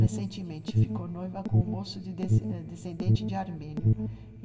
Recentemente ficou noiva com um moço des descendente de armênio.